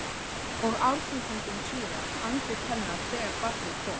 Og árþúsundum síðar- andlit hennar þegar barnið kom.